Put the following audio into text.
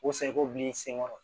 O sa i b'o bila i senkɔrɔ